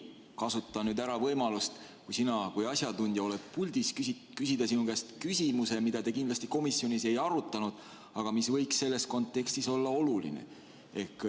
Kasutan nüüd võimalust, et sina kui asjatundja oled puldis, küsida sinu käest küsimuse, mida te kindlasti komisjonis ei arutanud, aga mis võiks selles kontekstis olla oluline.